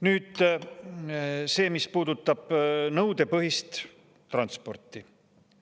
Nüüd see, mis puudutab nõudepõhist transporti.